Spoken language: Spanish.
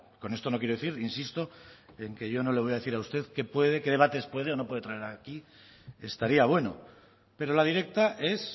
con esto no quiero decir insisto en que yo no le voy a decir a usted qué debates puede o no puede traer aquí estaría bueno pero la directa es